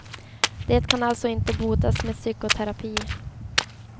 Det kan alltså inte botas med psykoterapi.